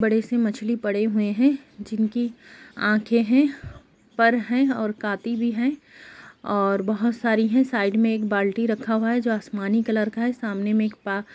बड़े से मछली पड़े हुए है जिनकी आँखे है पर है और काटी भी है और बहोत सारी है साईड में एक बाल्टी रखा हुआ है जो आसमानी कलर का है। सामने में एक पाक --